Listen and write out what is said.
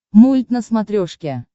мульт на смотрешке